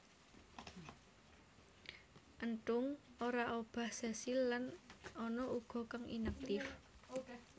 Enthung ora obah sesil lan ana uga kang inaktif